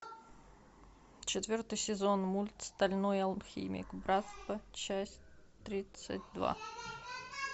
четвертый сезон мульт стальной алхимик братство часть тридцать два